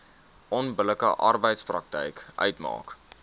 onbillike arbeidspraktyk uitmaak